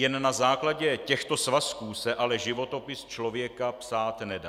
Jen na základě těchto svazků se ale životopis člověka psát nedá.